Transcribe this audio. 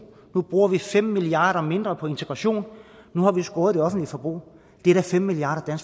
nu bruger vi fem milliard kroner mindre på integration nu har vi skåret i det offentlige forbrug det er da fem milliard kr